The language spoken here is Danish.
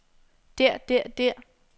der der der